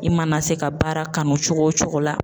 I mana se ka baara kanu cogo o cogo la